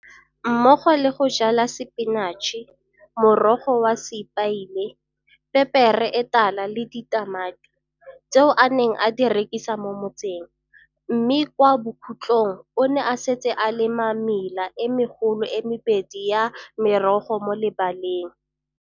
mmogo le go jala sepinatšhe, morogo wa sepaile, pepere e tala le ditamati, tseo a neng a di rekisa mo motseng, mme kwa bokhutlhong o ne a setse a lema mela e megolo e mebedi ya merogo mo lebaleng